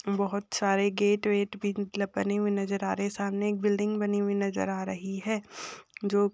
बहुत सारे गेट वेट भी मतलब बने हुए नजर आ रहे हैं। सामने एक बिल्डिंग बनी हुई नजर आ रही है जो --